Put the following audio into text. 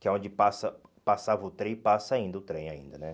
Que é onde passa passava o trem e passa ainda o trem, ainda, né?